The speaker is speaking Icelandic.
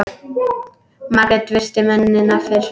Margrét virti mennina fyrir sér.